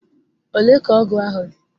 Ole ka ọgụ ahụ dị?